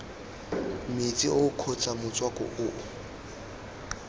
metsi oo kgotsa motswako oo